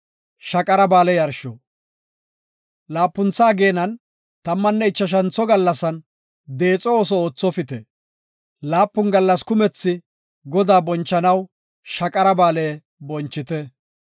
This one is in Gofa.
“Laapuntha ageenan tammanne ichashantho gallasan, deexo ooso oothopite; laapun gallas kumethi Godaa bonchanaw Shaqara Ba7aale bonchite.